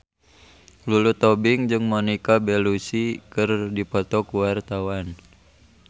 Lulu Tobing jeung Monica Belluci keur dipoto ku wartawan